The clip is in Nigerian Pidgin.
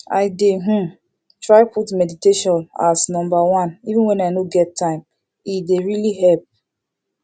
i dey um try put meditation as number oneeven when i no get time e dey really help